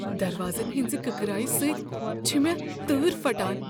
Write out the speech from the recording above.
دروازن ہٕنزِ کٕکرایہ سۭتۍ چھےٚ مےٚ تۭر پھٹان۔